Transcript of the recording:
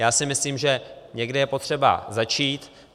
Já si myslím, že někde je potřeba začít.